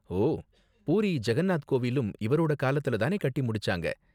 ஓ, பூரி ஜகன்நாத் கோவிலும் இவரோட காலத்துல தானே கட்டி முடிச்சாங்க?